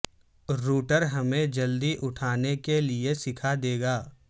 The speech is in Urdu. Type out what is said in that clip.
روٹر ہمیں جلدی اٹھانے کے لئے سکھا دے گا